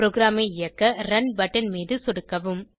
ப்ரோகிராமை இயக்க run button மீது சொடுக்கவும்